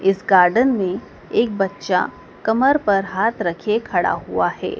इस गार्डन में एक बच्चा कमर पर हाथ रखे खड़ा हुआ है।